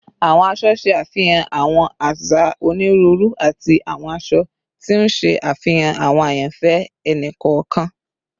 Awọn aṣọ ṣe afihan awọn aza oniruuru ati awọn aṣọ, ti n ṣe afihan awọn ayanfẹ ẹni kọọkan